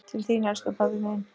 Til þín, elsku pabbi minn.